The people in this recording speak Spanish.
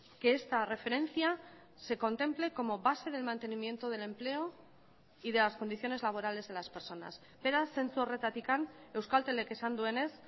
que esta referencia se contemple como base del mantenimiento del empleo y de las condiciones laborales de las personas beraz zentzu horretatik euskaltelek esan duenez